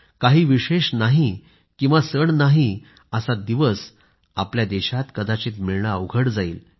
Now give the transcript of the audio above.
काही विशेष नाही किंवा सण नाही असा दिवस आपल्या देशात कदाचित मिळणं अवघड जाईल